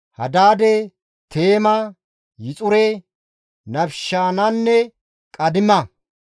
Hadaade, Teema, Yixure, Nafishaanenne Qeedima.